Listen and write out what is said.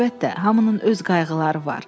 Əlbəttə, hamının öz qayğıları var.